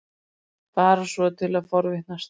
Bara svona til að forvitnast.